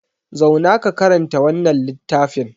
Zauna ka karanta wannan littafin!